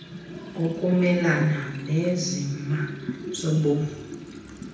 kokumelana neenzima zobomi